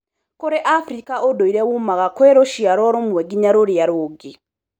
Kũrĩ Afrika ũndũire wumaga kwĩ rũciarwo rũmwe nginya rũrĩa rũngĩ.